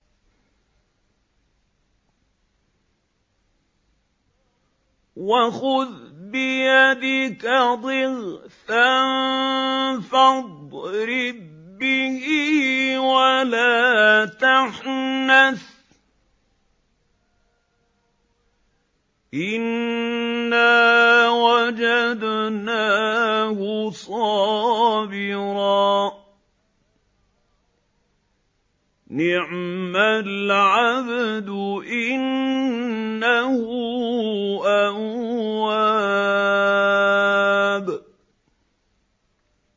وَخُذْ بِيَدِكَ ضِغْثًا فَاضْرِب بِّهِ وَلَا تَحْنَثْ ۗ إِنَّا وَجَدْنَاهُ صَابِرًا ۚ نِّعْمَ الْعَبْدُ ۖ إِنَّهُ أَوَّابٌ